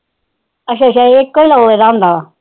ਅੱਛਾ ਅੱਛਾ ਇਕੇ ਲੋ ਰਹਿੰਦਾ ਆ